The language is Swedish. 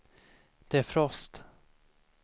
defrost